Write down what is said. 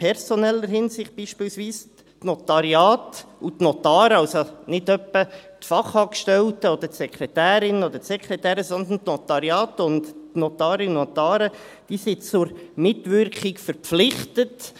In personeller Hinsicht sind beispielsweise die Notariate und die Notare, also nicht etwa die Fachangestellten oder die Sekretärinnen oder Sekretäre, sondern die Notariate, und die Notarinnen und Notare, zur Mitwirkung verpflichtet.